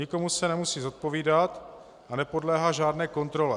Nikomu se nemusí zodpovídat a nepodléhá žádné kontrole.